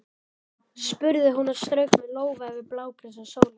spurði hún og strauk með lófa yfir blágresi og sóleyjar.